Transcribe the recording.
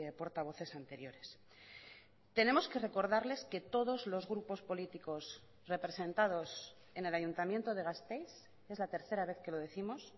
portavoces anteriores tenemos que recordarles que todos los grupos políticos representados en el ayuntamiento de gasteiz es la tercera vez que lo décimos